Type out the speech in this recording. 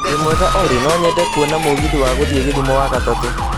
Wĩmwega Olly no nyende kwona mũgithi gũthiĩ gĩthũmo wagatatũ